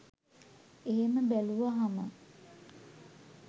එහෙම බැලුවහම